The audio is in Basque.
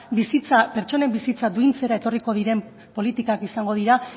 pertsonen bizitza duintzera etorriko diren politikak izango dira